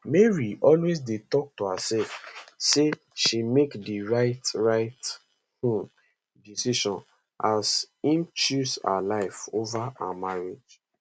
mary always dey tok to hersef say she make di right right um decision as im choose her life ova her marriage